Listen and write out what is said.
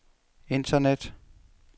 internet